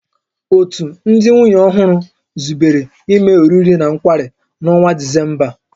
Òtù ndị nwunye ọhụrụ zubere ime oriri na nkwari n'ọnwa Disemba a